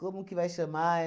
que vai chamar?